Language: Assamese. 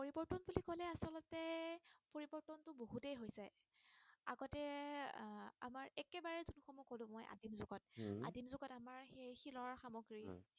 শিলৰ সামগ্ৰী হম